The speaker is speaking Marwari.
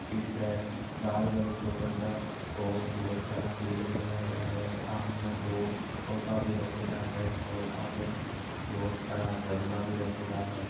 पीछे लाल कलर का बड़ा होल बहुत सारा फुल भी लगा है सामने दो सोफा भी रखा है और आगे बहुत सारा गमला भी रखेडा है।